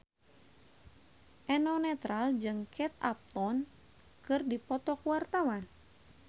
Eno Netral jeung Kate Upton keur dipoto ku wartawan